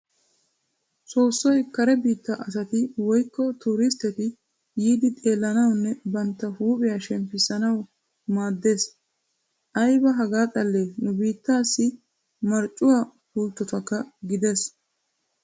Soossoy kare biittaa asati woyikko tooristteti yiiddi xeellanawunne bantta huuphiya shemppissanawu maaddes. Ayiba hagaa xallee nu biittaassi marccuwaa pulttokka gidees.